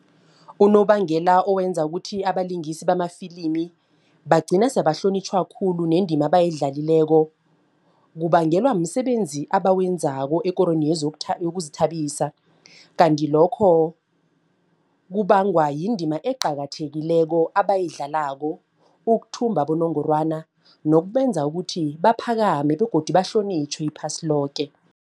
Unobangela owenza ukuthi abalingisi bamafilimi bagcina sebahlonitjhwe khulu nendima abayidlalako. Kubangelwa msebenzi abawenzako ekorweni yokuzithabisa. Kanti lokho kubangwa yindima eqakathekileko abayidlalako ukuthumba abonongorwana nokubenza ukuthi baphakame begodu bahlonitjhwe iphasi loke.